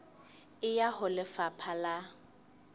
e ya ho lefapha la